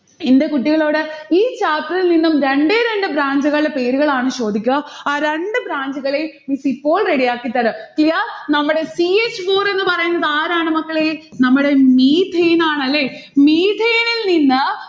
എന്റെ കുട്ടികളോട് ഈ chapter ഇൽനിന്നും രണ്ടേ രണ്ട് branch ഉകളുടെ പേരുകളാണ് ചോദിക്ക. ആ രണ്ട് branch ഉകളെയും miss ഇപ്പോൾ ready ആക്കിത്തരാം. clear? നമ്മടെ ch four എന്ന് പറയുന്നതാരാണ് മക്കളെ? നമ്മടെ methane ആണല്ലേ. methane ഇൽ നിന്ന്